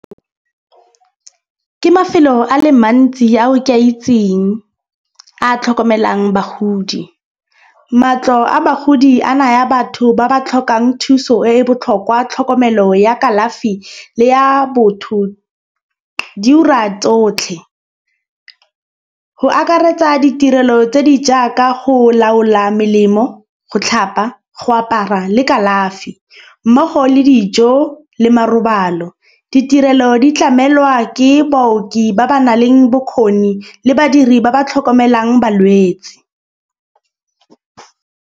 Ke mafelo a le mantsi a o ke a itseng a tlhokomelang bagodi. Matlo a bagodi a naya batho ba ba tlhokang thuso e e botlhokwa, tlhokomelo ya kalafi le ya botho di ura tsotlhe. Go akaretsa ditirelo tse di jaaka go laola melemo go tlhapa, go apara le kalafi mmogo le dijo le marobalo. Ditirelo di tlamelwa ke baoki ba ba nang le bokgoni le badiri ba ba tlhokomelang balwetsi.